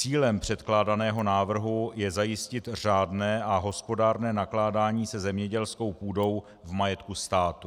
Cílem předkládaného návrhu je zajistit řádné a hospodárné nakládání se zemědělskou půdou v majetku státu.